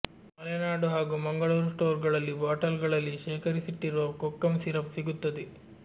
ಮಲೆನಾಡು ಹಾಗೂ ಮಂಗಳೂರು ಸ್ಟೋರ್ಗಳಲ್ಲಿ ಬಾಟಲ್ಗಳಲ್ಲಿ ಶೇಖರಿಸಿಟ್ಟಿರುವ ಕೋಕಂ ಸಿರಪ್ ಸಿಗುತ್ತದೆ